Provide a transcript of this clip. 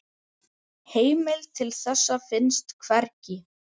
Heimild til þessa finnst hvergi.